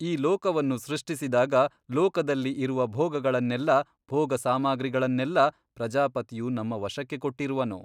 ಈ ಲೋಕವನ್ನು ಸೃಷ್ಟಿಸಿದಾಗ ಲೋಕದಲ್ಲಿ ಇರುವ ಭೋಗಗಳನ್ನೆಲ್ಲ ಭೋಗ ಸಾಮಗ್ರಿಗಳನ್ನೆಲ್ಲ ಪ್ರಜಾಪತಿಯು ನಮ್ಮ ವಶಕ್ಕೆ ಕೊಟ್ಟಿರುವನು.